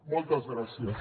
moltes gràcies